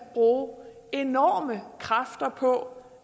bruge enorme kræfter på